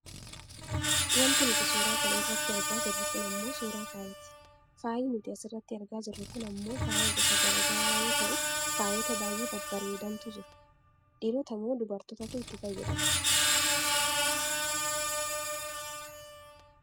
Wanti nuti suuraa kana irratti argaa jirru kun ammoo suuraa faayati. Faayi nuti asirratti argaa jirru kun ammoo faaya gosa gara garaa yoo ta'u, faayota baayyee babbareedantu jiru. Dhiirota moo dubartootatu itti fayyadama?